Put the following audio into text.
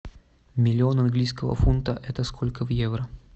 миллион английского фунта это сколько в евро